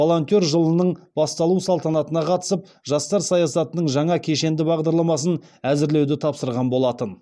волонтер жылының басталу салтанатына қатысып жастар саясатының жаңа кешенді бағдарламасын әзірлеуді тапсырған болатын